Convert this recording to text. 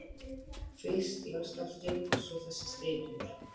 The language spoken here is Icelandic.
Fyrst jarðskjálftinn og svo þessi þytur.